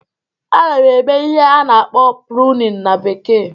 A na m eme ihe a na-akpọ "pruning"na bekee